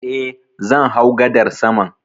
Eh, zan hau gadar saman